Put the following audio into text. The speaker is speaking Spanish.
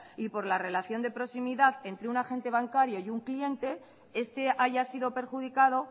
y por la relación de proximidad entre un agente bancario y un cliente este haya sido perjudicado